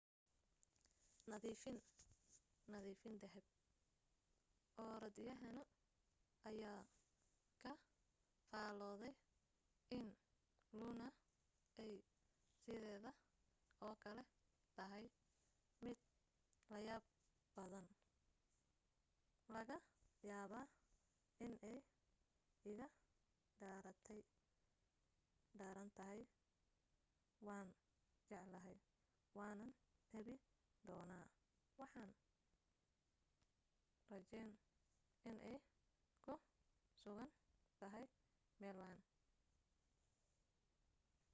nadiifin nadifin dahab orodyahano ayaa ka faaloday in luna ay sidayda oo kale tahay mid layaab badan.. laga yaabaa inay iga darantahay.. waan jeclahay waanan tabi doonaa waxaan rajayn inay ku sugan tahay meel wacan.